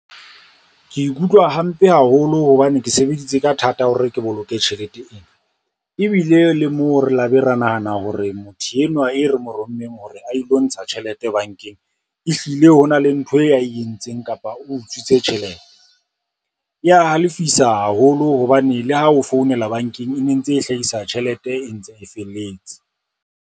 Ke ikutlwa hampe haholo hobane ke sebeditse ka thata hore ke boloke tjhelete ena, ebile le moo re la be ra nahana hore motho enwa e re mo rommeng hore a ilo ntsha tjhelete bankeng, ehlile ho na le ntho e entseng kapa utswitse tjhelete. E ya halefisa haholo hobane le ha o founela bankeng, e ne ntse e hlahisa tjhelete e ntse e felletse.